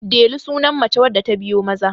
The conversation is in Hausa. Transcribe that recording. Delu sunan mace wadda ta biyo Maza